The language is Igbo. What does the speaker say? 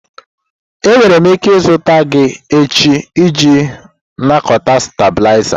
Enwere m ike izute gị echi iji nakọta stabilizer?